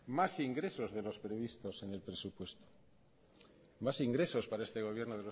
más ingresos de los previstos en el presupuesto más ingresos para este gobierno